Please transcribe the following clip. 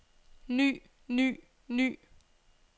ny ny ny